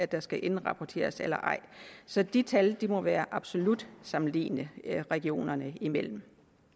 der skal indrapporteres eller ej så de tal må være absolut sammenlignelige regionerne imellem